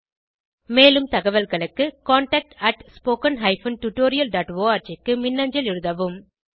மேலும் தகவல்களுக்கு contactspoken tutorialorg க்கு மின்னஞ்சல் எழுதவும்